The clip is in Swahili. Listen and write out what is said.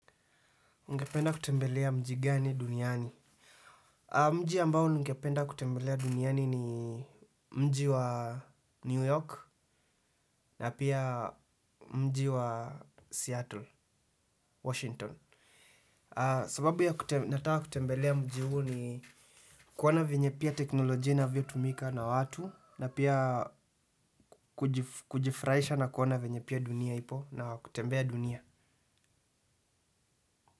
Ngependa kutembelea mji gani duniani? Mji ambao ngependa kutembelea duniani ni mji wa New York na pia mji wa Seattle, Washington. Sababu ya nataa kutembelea mji huu ni kuona venye pia teknolojia inavyotumika na watu na pia kujifurahisha na kuona venye pia dunia ipo na kutembea dunia.